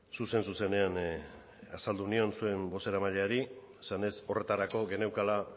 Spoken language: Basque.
zuzen zuzenean azaldu nion zuen bozeramaileari esanez horretarako geneukala